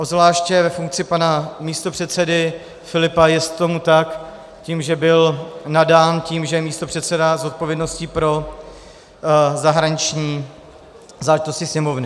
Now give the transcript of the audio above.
Obzvláště ve funkci pana místopředsedy Filipa jest tomu tak tím, že by nadán tím, že je místopředseda s odpovědností pro zahraniční záležitosti Sněmovny.